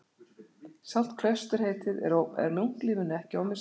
Sjálft klausturheitið er munklífinu ekki ómissandi.